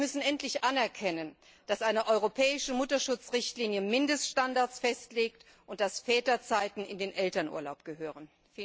Und wir müssen endlich anerkennen, dass eine europäische Mutterschutz Richtlinie Mindeststandards festlegt und Väterzeiten in den Elternurlaub gehören.